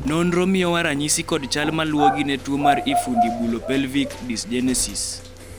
nonro miyowa ranyisi kod chal maluwogi ne tuo mar Infundibulopelvic dysgenesis.